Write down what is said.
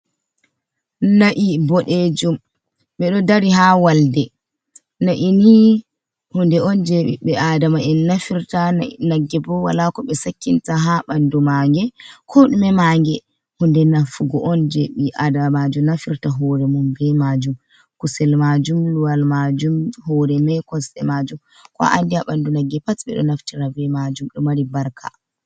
Na’i boɗejum. beɗo dari ha walɗe na’ini hunɗe on je bibbe aɗama en nafirta. nagge bo wala ko be sakkinta ha banɗu mange. Ko ɗume mange hunɗe nafugo on je be adamajum nafirta hore mum be majum. kuse lmajum, luwal majum, hore mai kosɗe majum, ko a anɗi ha banɗu nagge pat be ɗo naftira be majum. Ɗo mari barka.